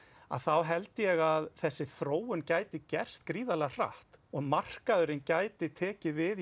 þá held ég að þessi þróun gæti gerst gríðarlega hratt og markaðurinn gæti tekið við